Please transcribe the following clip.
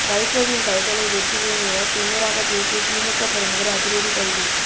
வைகோவின் கைகளை வெட்டுவேன் என திமிராகப் பேசிய திமுக பிரமுகர் அதிரடி கைது